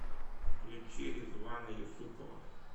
включи ризвана юсупова